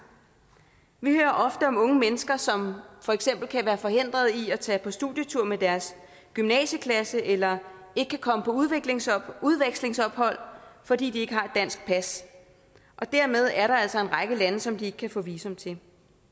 vi hører ofte om unge mennesker som for eksempel kan være forhindret i at tage på studietur med deres gymnasieklasse eller ikke kan komme på udvekslingsophold udvekslingsophold fordi de ikke har et dansk pas og dermed er der altså en række lande som de ikke kan få visum til